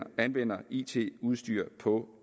anvender it udstyr på